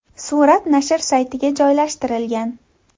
Surat nashr saytiga joylashtirilgan .